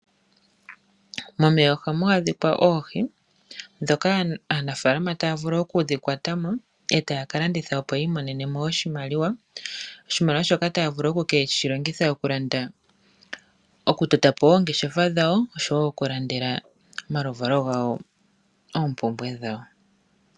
Momeya ohamu adhika oohi, dhoka aanafaalama taya vulu okudhi kwatamo e taya ka landitha opo yi imonenemo oshimaliwa. Oshimaliwa shoka taya vulu okukeshi longitha oku landa, oku totapo oongeshefa dhawo oshowo oku landela omaluvalo gawo oompumbwe dhawo.